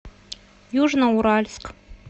южноуральск